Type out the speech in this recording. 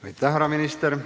Aitäh, härra minister!